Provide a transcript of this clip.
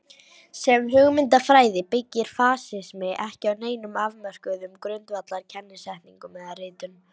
Sem hugmyndafræði byggir fasismi ekki á neinum afmörkuðum grundvallar kennisetningum eða ritum.